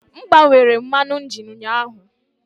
M gbanwere mmanụ injin ụnyaahụ.